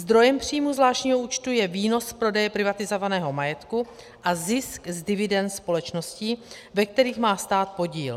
Zdrojem příjmů zvláštního účtu je výnos z prodeje privatizovaného majetku a zisk z dividend společností, ve kterých má stát podíl.